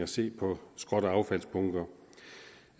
se på skrot og affaldsbunker